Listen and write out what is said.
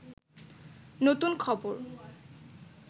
নতুন খবর